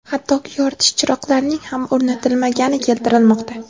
hattoki yoritish chiroqlarining ham o‘rnatilmagani keltirilmoqda.